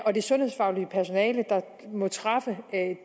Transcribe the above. og det sundhedsfaglige personale der må træffe